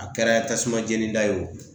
A kɛra tasumajenida ye o